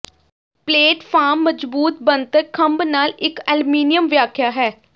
platform ਮਜਬੂਤ ਬਣਤਰ ਖੰਭ ਨਾਲ ਇੱਕ ਅਲਮੀਨੀਅਮ ਵਿਆਖਿਆ ਹੈ